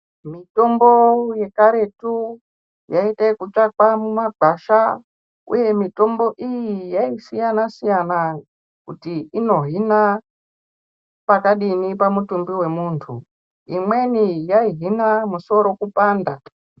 Mitombo yekaretu yaita ekutsvakwa mumagwasha uye mutombo iyi yasiyana siyana kuti inohina pakadini pamutumbi wemundu imweni yaihina musoro kupanda.